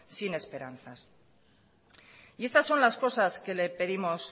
sin esperanzas y estas son las cosas que le pedimos